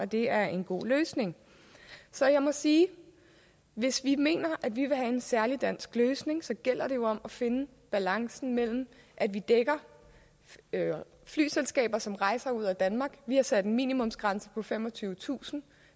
det er en god løsning så jeg må sige at hvis vi mener at vi vil have en særlig dansk løsning så gælder det jo om at finde balancen ved at vi dækker flyselskaber som sælger rejser ud af danmark vi har sat en minimumsgrænse på femogtyvetusind